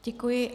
Děkuji.